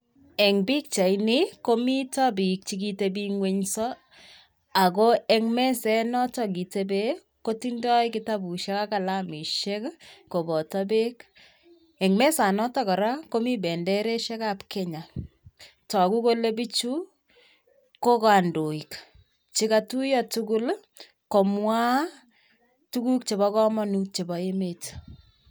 Eng pikchaini ko mito biik che kitabing'wenso. Ako eng meset noto kitebee kotindoi kitabushek ak kalamishek koboto beek. Eng mesanoto kora komii bendereshek ab kenya. Togu kolee bichu ko kandoik che katuiyo tugul komwaa tuguk chebo kamanut chebo emet.